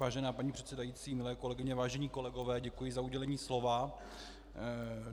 Vážená paní předsedající, milé kolegyně, vážení kolegové, děkuji za udělení slova.